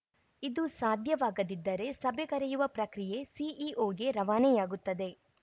ಇದು ಸಾಧ್ಯವಾಗದಿದ್ದರೆ ಸಭೆ ಕರೆಯುವ ಪ್ರಕ್ರಿಯೆ ಸಿಇಒಗೆ ರವಾನೆಯಾಗುತ್ತದೆ